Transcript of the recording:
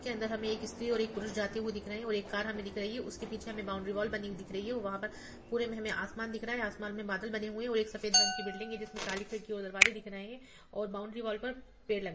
इसके अंदर हमे एक स्त्री और पुरुष जाते हुए दिख रहे है और एक कार हमे दिख रही है उसके पिछे बाउंड्री वॉल बनी हुई दिख रही है वहाँ पर पुरे में हमें आसमान दिख रहा है आसमान में बादल बने हुए हैं और एक सफेद रंग की बिल्डिंग है जिसमे काली खिड़की और और दरवाजे दिख रहे हैऔर बाउंड्री वॉल पर पेड़ लग --